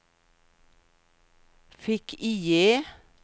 fick-IE